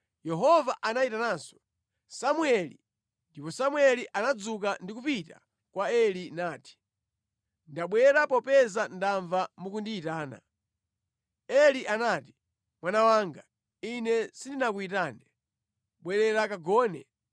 Yehova anayitananso, “Samueli!” Ndipo Samueli anadzuka ndi kupita kwa Eli nati, “Ndabwera popeza ndamva mukundiyitana.” Eli nati, “Mwana wanga, ine sindinakuyitane, bwerera kagone.”